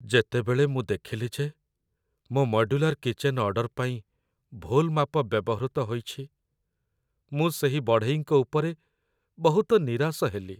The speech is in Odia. ଯେତେବେଳେ ମୁଁ ଦେଖିଲି ଯେ ମୋ ମଡ୍ୟୁଲାର୍ କିଚେନ୍‌ ଅର୍ଡର୍ ପାଇଁ ଭୁଲ୍ ମାପ ବ୍ୟବହୃତ ହୋଇଛି, ମୁଁ ସେହି ବଢ଼େଇଙ୍କ ଉପରେ ବହୁତ ନିରାଶ ହେଲି।